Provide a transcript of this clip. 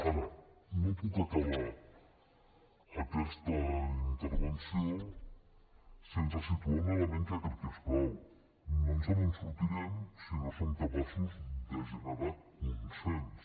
ara no puc acabar aquesta intervenció sense situar un element que crec que és clau no ens en sortirem si no som capaços de generar consens